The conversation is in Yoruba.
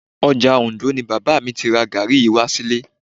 Ọjà Òndó ni bàbá mi ti ra gàárì yìí wá sílé